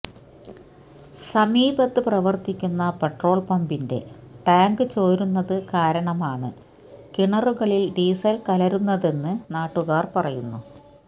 സമീപത്ത് പ്രവര്ത്തിക്കുന്ന പെട്രോള് പമ്പിന്റെ ടാങ്ക് ചോരുന്നത് കാരണമാണ് കിണറുകളില് ഡീസല് കലരുന്നതെന്ന് നാട്ടുകാര് പറയുന്നു